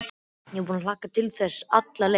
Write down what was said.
Ég er búin að hlakka til þess alla leiðina